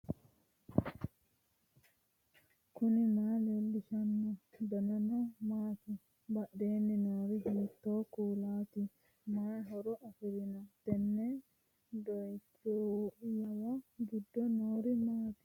knuni maa leellishanno ? danano maati ? badheenni noori hiitto kuulaati ? mayi horo afirino ? tenne doooniyyuwa giddo noori maatikka